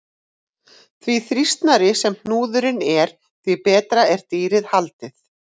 Því þrýstnari sem hnúðurinn er, því betur er dýrið haldið.